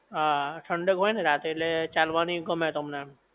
હા ઠંડક હોય ને રાતે ઍટલે ચાલવાની ગમે તમને